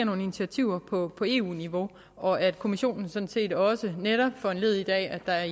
nogle initiativer på på eu niveau og at kommissionen sådan set også gør netop foranlediget af at der